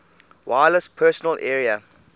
wireless personal area